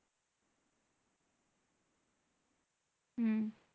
হম